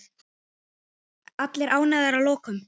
Allir ánægðir að lokum?